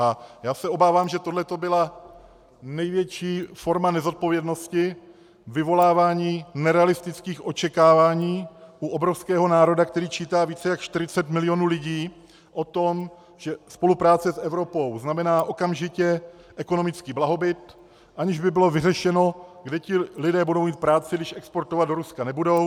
A já se obávám, že tohle to byla největší forma nezodpovědnosti vyvolávání nerealistických očekávání u obrovského národa, který čítá více jak 40 milionů lidí, o tom, že spolupráce s Evropou znamená okamžitě ekonomický blahobyt, aniž by bylo vyřešeno, kde ti lidé budou mít práci, když exportovat do Ruska nebudou.